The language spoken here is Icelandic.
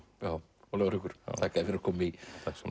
Ólafur Haukur takk fyrir að koma i